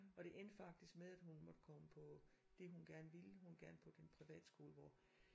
Og det endte faktisk med at hun måtte komme på det hun gerne ville hun ville gerne på den privatskole hvor